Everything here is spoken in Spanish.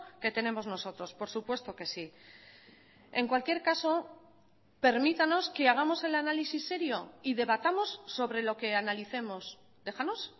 que tenemos nosotros por supuesto que sí en cualquier caso permítanos que hagamos el análisis serio y debatamos sobre lo que analicemos déjanos